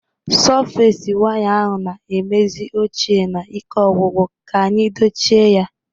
Sọfes waya ahụ na-emezi ochie na ike ogwugwu, ka anyị dochie ya